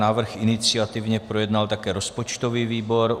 Návrh iniciativně projednal také rozpočtový výbor.